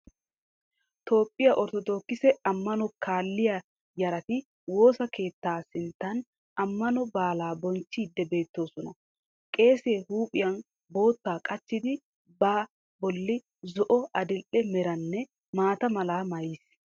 Toophiyaa Orthodokkise Ammanuwaa Kaalliya Yarati Woosa Keettaa Sinnttan Ammano Baala Bonchiidi Beettoosona. Qeeseehuuphiya Bootta Qacidi ba Bolli Zo"o Adil'e Meranne Maata Mala Maayiis